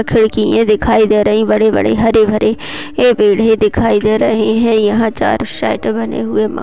खिड़किये दिखाई दे रही हैं बड़े-बड़े हरे-भरे पेड़ ही दिखाई दे रहे हैं। यहाँ चा --